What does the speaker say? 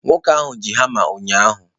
Nwoke ahụ ji hama ụnyahụ